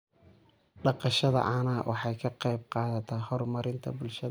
Dhaqashada caanaha waxay ka qayb qaadataa horumarinta bulshada.